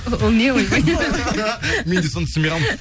о ол не ол мен де соны түсінбей қалдым